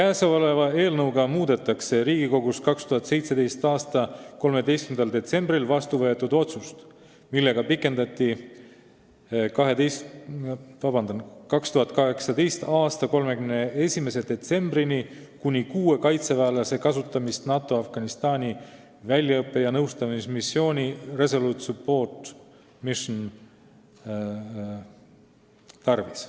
Eelnõuga muudetakse Riigikogus 2017. aasta 13. detsembril vastu võetud otsust, millega pikendati 2018. aasta 31. detsembrini kuni kuue kaitseväelase kasutamist NATO Afganistani väljaõppe- ja nõustamismissiooni Resolute Support Mission tarvis.